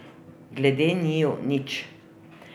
Glede njiju, nič.